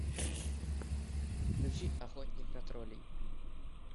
включи охотник на троллей